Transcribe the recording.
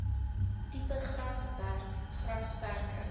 tipe grasperk grasperke